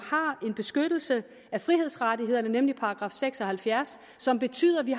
har en beskyttelse af frihedsrettighederne nemlig § seks og halvfjerds som betyder at vi